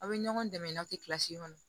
Aw bɛ ɲɔgɔn dɛmɛ n'aw tɛ kilasi kɔnɔ